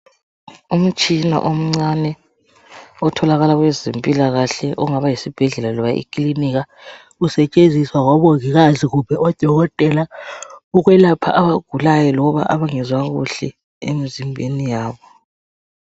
Umtshina omncane otholakala kwezempilakahle ongaba yisibhedlela loba eclinika usetshenziswa ngabo Mongikazi kumbe o Dokotela ukwelapha abagulayo loba abangezwa kuhle emzimbeni yabo.